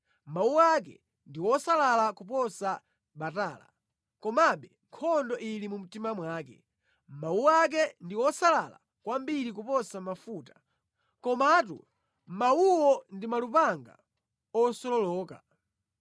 Mawu ake ndi osalala kuposa batala komabe nkhondo ili mu mtima mwake; mawu ake ndi osalala kwambiri kuposa mafuta, komatu mawuwo ndi malupanga osololoka.